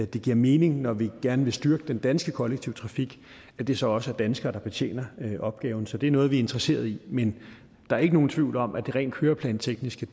det giver mening når vi gerne vil styrke den danske kollektive trafik at det så også er danskere der betjener opgaven så det er noget vi er interesseret i men der er ikke nogen tvivl om at det rent køreplantekniske